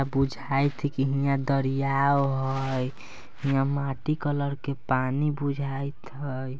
बुझाएत हय की हीया दरियाव हय हीया माटी कलर के पानी बुझाएत हय।